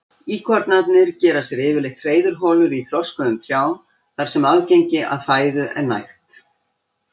Íkornarnir gera sér yfirleitt hreiðurholur í þroskuðum trjám þar sem aðgengi að fæðu er nægt.